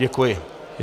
Děkuji.